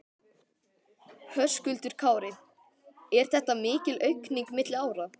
Höskuldur Kári: Er þetta mikil aukning milli ára?